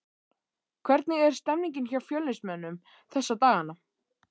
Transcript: Hvernig er stemningin hjá Fjölnismönnum þessa dagana?